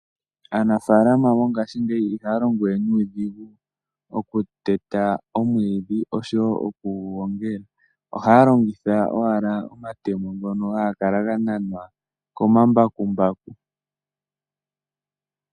Aanafalama mongashingeyi ihaya longowe nuudhigu okuteta omwiidhi oshowo okugu gongela . Ohaya longitha owala omatemo ngono haga kala ga nanwa komambakumbaku .